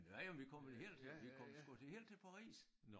Men ja vi kom vel helt vi kom sgu helt til Paris